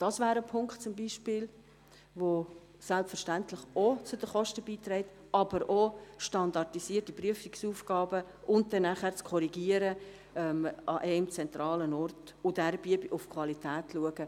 Dies wäre zum Beispiel ein Punkt, welcher selbstverständlich ebenfalls zu den Kosten beiträgt, aber auch standardisierte Prüfungsaufgaben, das Korrigieren an einem zentralen Ort und auf die Qualität zu achten.